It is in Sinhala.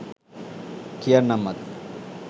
කියන්නම් අද